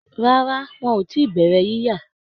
Rárá, wọn ò tí bẹ̀rẹ̀ yíya